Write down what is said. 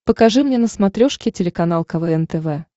покажи мне на смотрешке телеканал квн тв